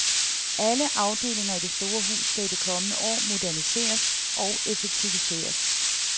Alle afdelinger i det store hus skal i de kommende år moderniseres og effektiviseres.